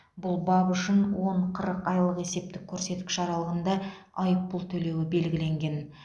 бұл бап үшін он қырық айлық есептік көрсеткіш аралығында айыппұл төлеуі белгіленген